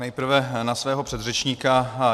Nejprve na svého předřečníka.